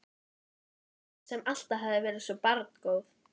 sagði hún, sem alltaf hafði verið svo barngóð.